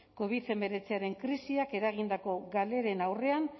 covid hemeretzian krisiak eragindako galeren aurrean